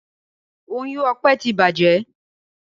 Oyún Ọpẹ tí bàjé.